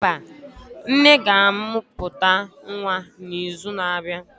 mba, nne ga-amụpụta Nwa n'izu na-abịa.